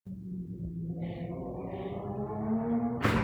Ore enkiremore e shai na enkiteru sapuk etumoto too lairemok